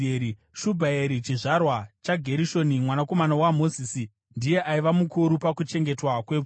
Shubhaeri chizvarwa chaGerishoni mwanakomana waMozisi, ndiye aiva mukuru pakuchengetwa kwepfuma.